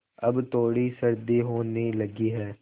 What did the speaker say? अब थोड़ी सर्दी होने लगी है